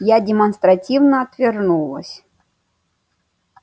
я демонстративно отвернулась